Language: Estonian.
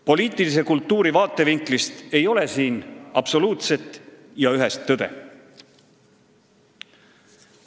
Poliitilise kultuuri vaatevinklist ei ole siin absoluutset ja ühest tõde.